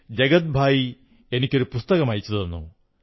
ജഗത് ഭായി എനിക്കൊരു പുസ്തകം അയച്ചു തന്നു